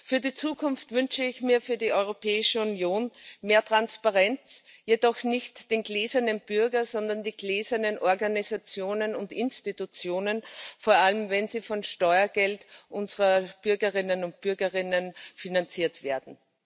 Für die Zukunft wünsche ich mir für die Europäische Union mehr Transparenz, jedoch nicht den gläsernen Bürger, sondern die gläsernen Organisationen und Institutionen, vor allem wenn sie vom Steuergeld unserer Bürgerinnen und Bürger finanziert werden.